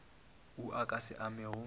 wo o ka se amego